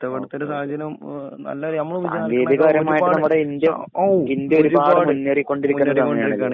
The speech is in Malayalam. സാങ്കേതിക പരമായിട്ട് നമ്മുടെ ഇന്ത്യഔ ഇന്ത്യ ഒരുപാട് മുന്നേറികൊണ്ടിരിക്കുന്നസമയാണ്.